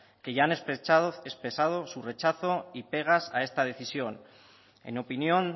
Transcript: que ya han expresado su rechazo y pegas a esta decisión en opinión